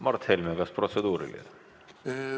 Mart Helme, kas protseduuriline?